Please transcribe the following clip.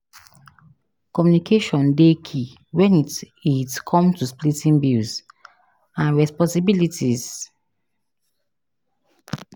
Communication dey key when it it come to splitting bills and responsibilities.